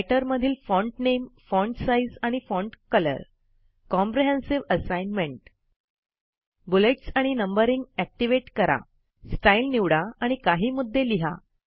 writer मधील font नामे font size आणि font colour comprehensive ASSIGNMENT bullets आणि नंबरिंग ऍक्टिव्हेट करा स्टाईल निवडा आणि काही मुद्दे लिहा